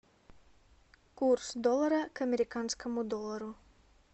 курс доллара к американскому доллару